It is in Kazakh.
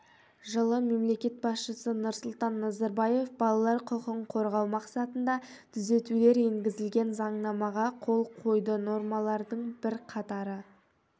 жылы мемлекет басшысы нұрсұлтан назарбаев балалар құқығын қорғау мақсатында түзетулер енгізілген заңнамаға қол қойды нормалардың бірқатары